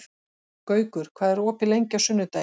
Gaukur, hvað er opið lengi á sunnudaginn?